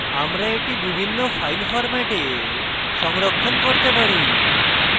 আমরা এটি বিভিন্ন file ফরম্যাটে সংরক্ষণ করতে পারি